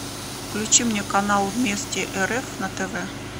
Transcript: включи мне канал вместе рф на тв